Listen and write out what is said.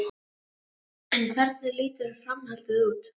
En hvernig lítur framhaldið út?